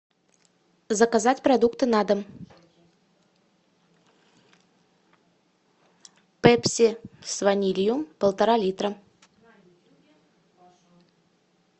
заказать продукты на дом пепси с ванилью полтора литра